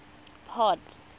port